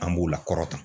An b'u la kɔrɔta